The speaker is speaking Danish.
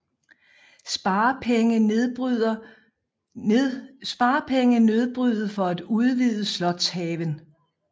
Sparepenge nedbryde for at udvide slotshaven